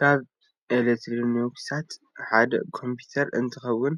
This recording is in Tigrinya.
ካበ ኤትሪኒክሳት ሓደ ኮምፒተር እንትከውን